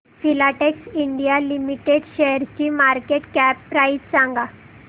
Filatex India limited शेअरची market cap price सांगा